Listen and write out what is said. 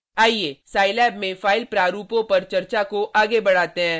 आइये scilab में file प्रारूपों पर चर्चा को आगे बढ़ाते हैं: